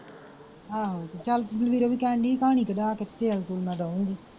ਆਹੋ ਤੇ ਚਲ ਵੀ ਕਹਿਣ ਡਈ ਸੀ ਪਾਣੀ ਕਢਾ ਕੇ ਤੇ ਤੇਲ ਤੂਲ ਮੈਂ ਦਊਂਗੀ।